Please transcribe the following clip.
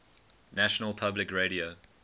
national public radio